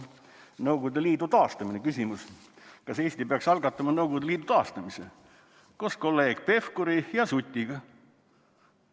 Näiteks, küsimus: "Kas Eesti peaks algatama Nõukogude Liidu taastamise?", koos kolleeg Pevkuri ja Sutiga.